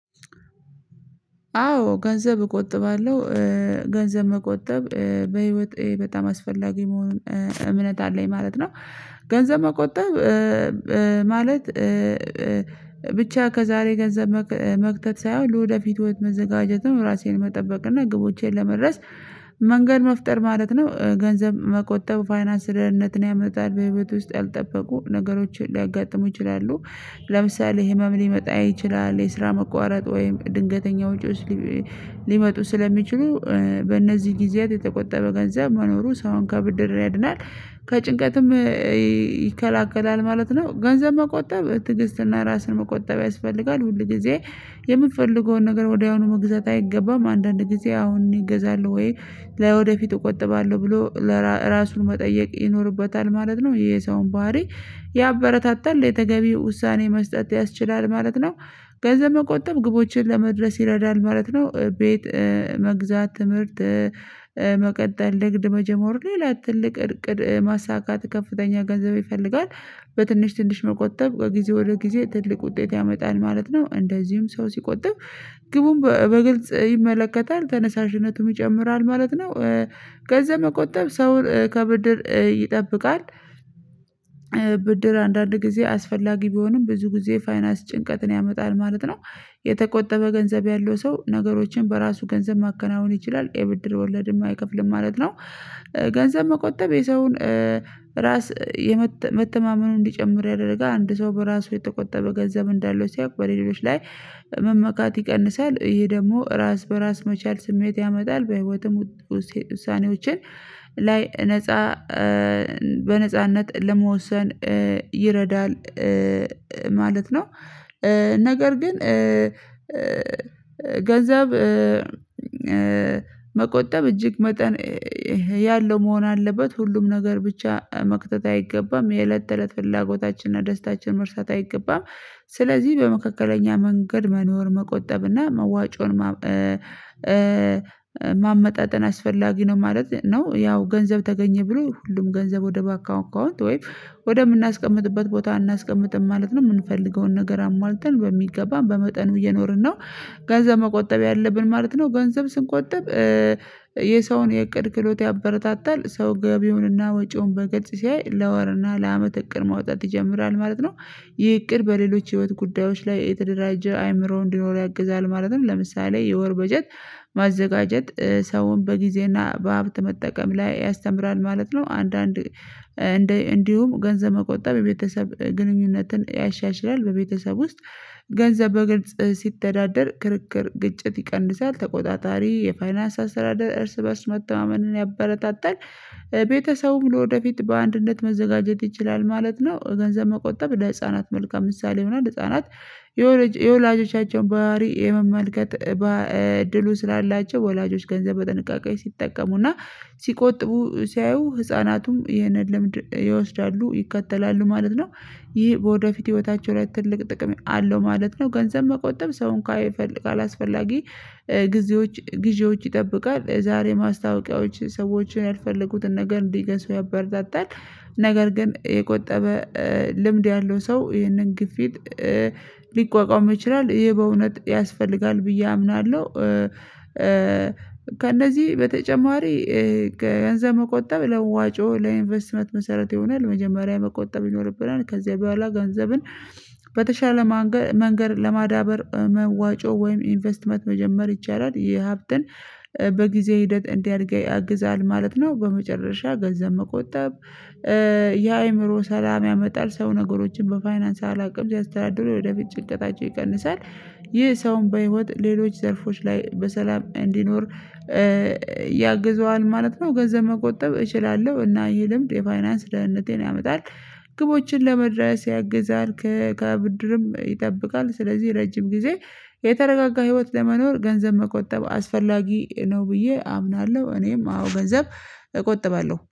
አዎ ገንዘብ እቆጥባለሁ ገንዘብ መቆጠብ በህይወቴ በጣም አስፈላጊ መሆን እምነት አለኝ ማለት ነው። ገንዘብ መቆጠብ ማለት ከዛሬ ገንዘብ መክተት ሳይሆን ለወደፊት ህይወትመዘጋጀትን ራሴን መጠበቅ እና ግቦቼን ለመድረስ መንገድ መፍጠር ማለት ነው። ገንዘብ መቆጠብ ፋይናንስ ደህንነትን ያመጣል በህይወት ውስጥ ያልተጠበቁ ነገሮችን ሊያጋጥሙ ይችላሉ። ለምሳሌ ህመም ሊመጣ ይችላል የስራ መቋረጥ ወይም ድንገተኛ ውጪዎች ሊመጡ ስለሚችሉ በእነዚህ ጊዜያት የተቆጠበ ገንዘብ መኖሩ ሰውን ከብድር ያድናል ከጭንቀትም ይከላከላል ማለት ነው። ገንዘብ መቆጠብ ትግስትና ራስን መቆጠብ ያስፈልጋል ሁል ጊዜ የምትፈልገውን ነገር ወዲያውኑ መግዛት አይገባም አንዳንድ ጊዜ አሁን እገዛለሁ ወይ ለወደፊት እቆጥባለሁ ብሎ እራሱን መጠየቅ ይኖርበታል ማለት ነው። የሰውን ባህሪ ያበረታታል የተገቢው ውሳኔ መስጠት ያስችላል ማለት ነው። ገንዘብ መቆጠብ ግቦችን ለመድረስ ይረዳል ማለት ነው። ቤት መግዛት ትምህርት መቀጠል ንግድ መጀመር ሌላ ትልቅ እቅድ ማሳካት ከፍተኛ ገንዘብ ይፈልጋል። በትንሽ ትንሽ መቆጠብ ከጊዜ ወደ ጊዜ ትልቅ ውጤት ያመጣል ማለት ነው። እንደዚሁም ሰው ሲቆጥብ ግቡን በግልጽ ይመለከታል ተነሳሽነቱም ይጨምራል ማለት ነው። ከዛ መቆጠብ ሰውን ከብድር ይጠብቃል። ብድር አንዳንድ ጊዜ አስፈላጊ ቢሆንም ብዙ ጊዜ ፋይናንስ ጭንቀትን ያመጣል ማለት ነው። የተቆጠበ ገንዘብ ያለው ሰው ነገሮችን በራሱ ገንዘብ ማከናወን ይችላል የብድር ወለድም አይከፍልም ማለት ነው። ገንዘብ መቆጠብ የሰውን ራስ መተማመኑን እንዲጨምር ያደረገ አንድ ሰው በራሱ የተቆጠበ ገንዘብ እንዳለው ሲያውቅ በሌሎች ላይ መመካት ይቀንሳል ይሄ ደግሞ ራስ በራስ መቻል ስሜት ያመጣል በህይወትም ውሳኔዎችን ላይ ነፃ በነጻነት ለመወሰን ይረዳል ማለት ነው። ነገር ግን ገንዘብ መቆጠብ እጅግ መጠን ያለው መሆን አለበት ሁሉም ነገር ብቻ መክተት አይገባም የእለት እለት ፍላጎታችንና ደስታችን መርሳት አይገባም። ስለዚህ በመካከለኛ መንገድ መኖር መቆጠብና መዋጮን ማመጣጠን አስፈላጊ ነው ማለት ነው። ያው ገንዘብ ተገኘ ብሎ ሁሉም ገንዘብ ወደ ባንክ አካውንት ወይም ወደ የምናስቀምጥበት ቦታ አናስቀምጥም ማለት ነው የምንፈልገውን ነገር አሟልተን በሚገባን በመጠኑ እየኖርን ነው። ገንዘብ መቆጠብ ያለብን ማለት ነው ገንዘብ ስንቆጠብ የሰውን የእቅድ ክህሎት ያበረታታል ሰው ገቢውንና ወጪውን በገልጽ ሲያይ ለወርና ለአመት እቅድ ማውጣት ይጀምራል ማለት ነው። ይህ እቅድ በሌሎች ህይወት ጉዳዮች ላይ የተደራጀ አይምሮ እንዲኖር ያግዛል ማለትም ለምሳሌ የወር በጀት ማዘጋጀት ሰውን በጊዜና በሀብት መጠቀም ላይ ያስተምራል ማለት ነው። አንዳንድ እንዲሁም ገንዘብ መቆጠብ የቤተሰብ ግንኙነትን ያሻሽላል በቤተሰብ ውስጥ ገንዘብ በግልጽ ሲተዳደር ክርክር ግጭት ይቀንሳል ተቆጣጣሪ የፋይናንስ አሰተዳደር እርስ በእርስ መተማመንን ያበረታታል ቤተሰቡም ለወደፊት በአንድነት መዘጋጀት ይችላል ማለት ነው። ገንዘብ መቆጠብ ለህፃናት መልካም ምሳሌ ይሆናል ህፃናት የወላጆቻቸውን ባህሪ የመመልከት እድሉ ስላላቸው ወላጆች ገንዘብ በጥንቃቄ ሲጠቀሙና ሲቆጥቡ ሲያዩ ህፃናቱም ይሔንን ልምድ ይወስዳሉ ይከተላሉ ማለት ነው። ይህ በወደፊት ህይወታቸው ላይ ትልቅ ጥቅም አለው ማለት ነው። ገንዘብ መቆጠብ ሰው ካለ አላስፈላጊ ጊዜዎች ጊዥዎች ይጠብቃል ዛሬ ማስታወቂያዎች ሰዎችን ያልፈለጉትን ነገር እንዲገዙ ያበረታታል። ነገር ግን የቆጠበ ልምድ ያለው ሰው ይህንን ግፊት ሊቋቋም ይችላል ይሄ በእውነት ያስፈልጋል ብዬ አምናለሁ። ከእነዚህ በተጨማሪ ገንዘብ መቆጠብ ለመዋጮ ለኢንቨስትመንት መሰረት ይሆናል መጀመሪያ መቆጠብ ይኖርብናል ከዚያ በኋላ ገንዘብን በተሻለ መንገድ ለማዳበር መዋጮ ወይም ኢንቨስትመንት መጀመር ይቻላል የሀብትን በጊዜ ሂደት እንዲያድግ ያግዛል ማለት ነው። በመጨረሻ ገንዘብ መቆጠብ የአእምሮ ሰላም ያመጣል ሰው ነገሮችን በፋይናንስ አላቅም ሲያስተዳድሩ ወደ ፊት ጭንቀታቸው ይቀንሳል ይህ ሰውን በህይወት ሌሎች ዘርፎች ላይ በሰላም እንዲኖር ያግዘዋል ማለት ነው። ገንዘብ መቆጠብ እችላለሁ እና ይህ ልምድ የፋይናንስ ደህንነቴን ያመጣል። ግቦችን ለመድረስ ያግዛል። ከብድርም ይጠብቃል ስለዚህ ረጅም ጊዜ የተረጋጋ ህይወት ለመኖር ገንዘብ መቆጠብ አስፈላጊ ነው ብዬ አምናለሁ። እኔም አዎ ገንዘብ እቆጥባለሁ